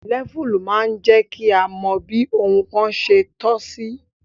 Lẹ́fù máa ń jẹ́ kí a mọ bí ohun kan se tọ́ sí